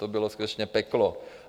To bylo skutečně peklo.